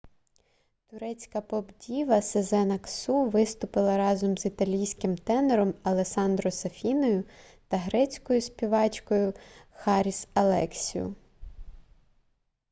турецька поп-діва сезен аксу виступила разом з італійським тенором алессандро сафіною та грецькою співачкою харіс алексіу